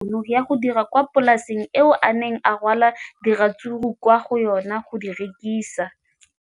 O ne a gana tšhono ya go dira kwa polaseng eo a neng rwala diratsuru kwa go yona go di rekisa.